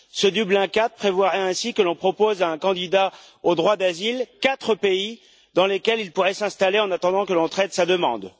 Ce Dublin IV prévoirait ainsi que l'on propose à un candidat au droit d'asile quatre pays dans lesquels il pourrait s'installer en attendant le traitement de sa demande.